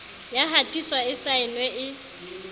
ya hatiswa e saenwe e